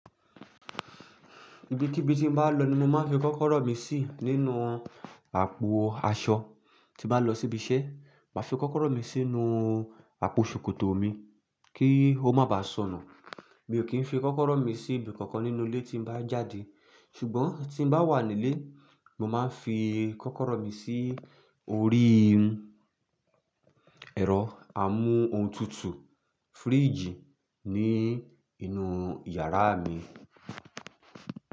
Ibi kíbí tí n bá lọ ni mo máa ń fi kọ́kọ́rọ́ mi sí nínú àpò aṣọ. Tí bá lọ síbi iṣẹ́, màá fi kọ́kọ́rọ́ mi sínú àpò ṣòkòtò mi kí ó má bá sọnù. Mi ò kí ń fi kọ́kọ́rọ́ mi sí ibi kankan nínú ilé tí bá jáde. Ṣùgbọ́n tí n bá wà nílé, mo máa ń fi kọ́kọ́rọ́ mi sí orí ẹ̀rọ àmú ohun tutù fíríjì ní inú yàrá mi.